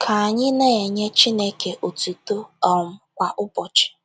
Ka anyị na - enye Chineke otuto um kwa ụbọchị.